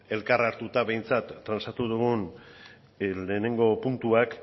elkar hartuta behintzat transatu dugun lehenengo puntuak